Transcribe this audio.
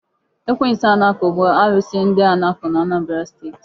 Ekwensu Anakụ bụ alụsị ndị Anakụ n'Anambra steeti.